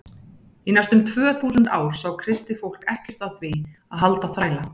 Í næstum tvö þúsund ár sá kristið fólk ekkert að því að halda þræla.